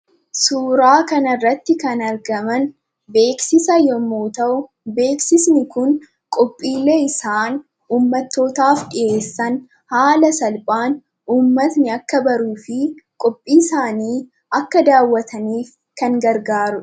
Suuraa kanarratti kan argaman beeksisa yommuu ta'u, beeksisni kun qophiilee isaan uummattootaaf dhiyeessan haala salphaan uummanni akka baruu fi qophii isaanii akka daawwatan kan gargaarudha.